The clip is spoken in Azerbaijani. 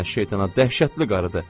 Lənə şeytana dəhşətli qarıdı.